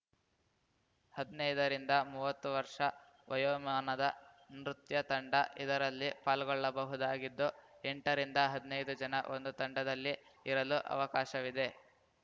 ಹದ್ನೈದರಿಂದ ಮುವ್ವತ್ತು ವರ್ಷ ವಯೋಮಾನದ ನೃತ್ಯ ತಂಡ ಇದರಲ್ಲಿ ಪಾಲ್ಗೊಳ್ಳಬಹುದಾಗಿದ್ದು ಎಂಟರಿಂದ ಹದ್ನೈದು ಜನ ಒಂದು ತಂಡದಲ್ಲಿ ಇರಲು ಅವಕಾಶವಿದೆ